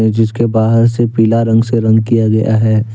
जिसके बाहर से पीला रंग से रंग किया गया है।